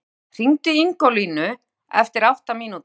Gael, hringdu í Ingólfínu eftir átta mínútur.